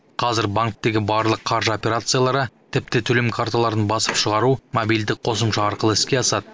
қазір банктегі барлық қаржы операциялары тіпті төлем карталарын басып шығару мобильдік қосымша арқылы іске асады